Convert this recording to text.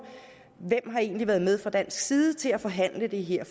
hvem har egentlig været med fra dansk side til at forhandle det her